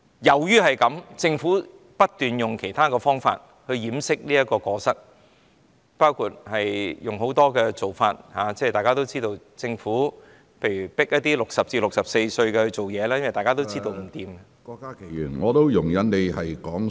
基於這個原因，政府不斷以其他方法掩飾過失，包括透過很多做法，例如強迫60至64歲的人工作，因為大家都知道這樣不行......